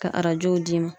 Ka arajow d'i ma